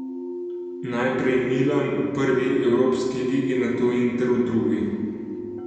Najprej Milan v prvi evropski ligi, nato Inter v drugi.